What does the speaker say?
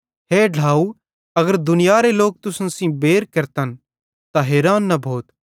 हे ढ्लाव अगर दुनियारे लोक तुसन सेइं बैर केरते त हैरान न भोथ